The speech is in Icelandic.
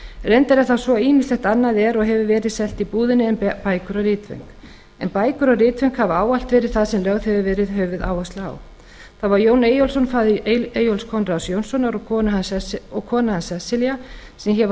reyndar er það svo að ýmislegt annað er og hefur verið selt í búðinni en bækur og ritföng en bækur og ritföng hafa ávallt verið það sem lögð hefur verið höfuðáhersla á það voru jón eyjólfsson faðir eyjólfs konráðs jónssonar og kona hans sesselja sem hér var